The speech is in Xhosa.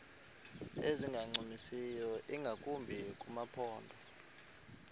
ezingancumisiyo ingakumbi kumaphondo